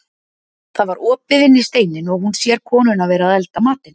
Það var opið inn í steininn og hún sér konuna vera að elda matinn.